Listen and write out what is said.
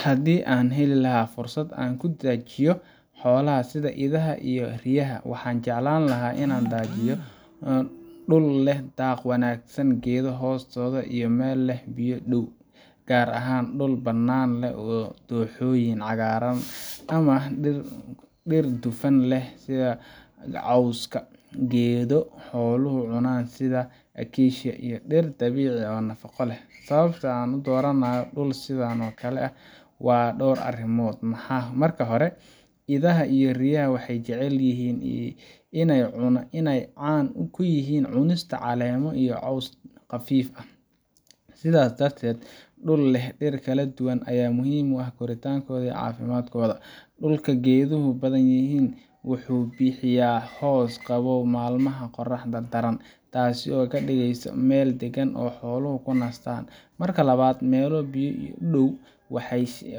Haddii aan heli lahaa fursad aan ku daajiyo xoolaha sida idaha iyo riyaha, waxaan jeclaan lahaa in aan daajiyo dhul leh daaq wanaagsan, geedo hoostooda iyo meel leh biyo u dhow, gaar ahaan dhul bannaan oo leh dooxooyin cagaaran ama dhir dufan leh sida cawska geedo xooluhu cunaan sida acacia, iyo dhir dabiici ah oo nafaqo leh. Sababta aan u dooranayo dhul sidan oo kale ah waa dhowr arrimood: Marka hore, idaha iyo riyaha waxay jecel yihiin inay caan ku yihiin cunista caleemo iyo caws qafiif ah, sidaas darteed dhul leh dhir kala duwan ayaa muhiim u ah korriinkooda iyo caafimaadkooda. Dhulka geeduhu badan yihiin wuxuu bixiyaa hoos qabow maalmaha qorraxda daran, taasoo ka dhigaysa meel deggan oo xooluhu ku nastaan. Marka labaad, meel biyo u dhow